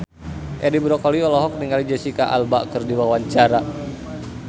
Edi Brokoli olohok ningali Jesicca Alba keur diwawancara